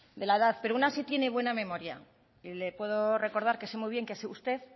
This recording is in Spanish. de la edad pero una sí tiene buena memoria y le puedo recordar que sé muy bien que es usted